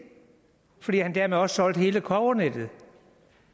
fordi han dermed også solgte hele kobbernettet